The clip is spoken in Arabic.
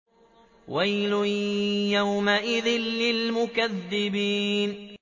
وَيْلٌ يَوْمَئِذٍ لِّلْمُكَذِّبِينَ